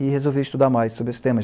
E resolvi estudar mais sobre esse tema.